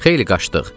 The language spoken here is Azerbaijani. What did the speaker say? Xeyli qaçdıq.